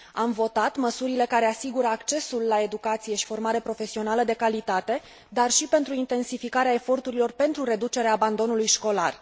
Am votat măsurile care asigură accesul la educație și formare profesională de calitate, dar și pentru intensificarea eforturilor pentru reducerea abandonului școlar.